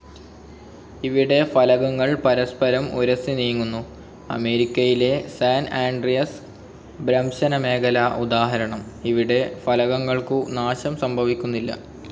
ഇവിടെ ഫലകങ്ങൾ പരസ്പരം ഉരസി നീങ്ങുന്നു. അമേരിക്കയിലെ സാൻ ആൻഡ്രിയസ് ഭ്രംശന മേഖല ഉദാഹരണം. ഇവിടെ ഫലകങ്ങൾക്കു നാശം സംഭവിക്കുന്നില്ല.